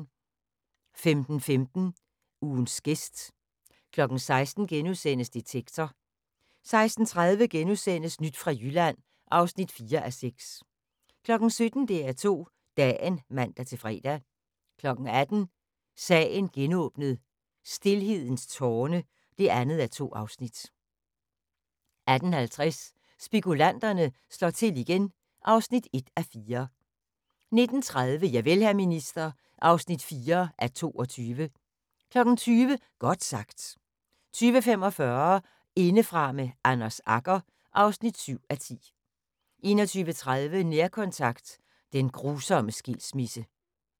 15:15: Ugens gæst 16:00: Detektor * 16:30: Nyt fra Jylland (4:6)* 17:00: DR2 Dagen (man-fre) 18:00: Sagen genåbnet: Stilhedens tårne (2:2) 18:50: Spekulanterne slår til igen (1:4) 19:30: Javel, hr. minister (4:22) 20:00: Godt sagt 20:45: Indefra med Anders Agger (7:10) 21:30: Nærkontakt – den grusomme skilsmisse